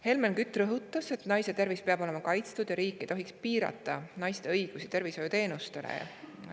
Helmen Kütt rõhutas, et naiste tervis peab olema kaitstud ja riik ei tohiks piirata naiste õigust saada tervishoiuteenuseid.